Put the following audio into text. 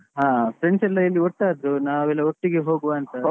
ಹ friends ಎಲ್ಲ ಇಲ್ಲಿ ಒಟ್ಟಾದ್ರು, ನಾವೆಲ್ಲ ಒಟ್ಟಿಗೆ ಹೋಗುವ ಅಂತ.